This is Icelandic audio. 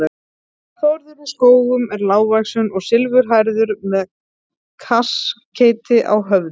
Þórður í Skógum er lágvaxinn og silfurhærður með kaskeiti á höfði.